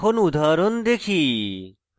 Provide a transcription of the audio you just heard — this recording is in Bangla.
এখন উদাহরণ দেখি